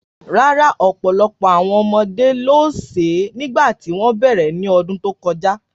Rárá, ọ̀pọ̀lọpọ̀ àwọn ọmọdé ló sè é nígbà tí wọ́n bẹ̀rẹ̀ ní ọdún tó kọjá.